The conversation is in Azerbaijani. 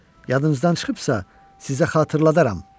Yadınızdan çıxıbsa, sizə xatırladaram.